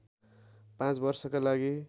पाँच वर्षका लागि